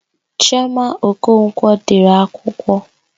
Chioma Okonkwo dere akwụkwọ.